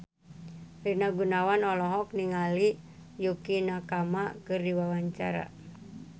Rina Gunawan olohok ningali Yukie Nakama keur diwawancara